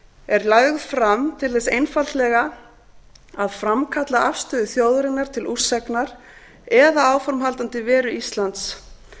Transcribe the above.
er lögð fram til þess einfaldlega að framkalla afstöðu þjóðarinnar til úrsagnar eða áframhaldandi veru íslands